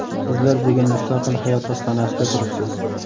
Sizlar bugun mustaqil hayot ostonasida turibsiz.